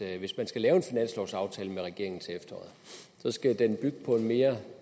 at hvis man skal lave en finanslovsaftale med regeringen til efteråret skal den bygge på en mere